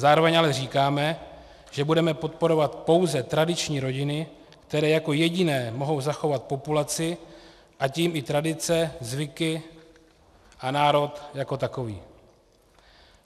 Zároveň ale říkáme, že budeme podporovat pouze tradiční rodiny, které jako jediné mohou zachovat populaci, a tím i tradice, zvyky a národ jako takový.